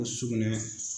Sugunɛ